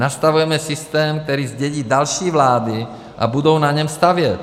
Nastavujeme systém, který zdědí další vlády, a budou na něm stavět.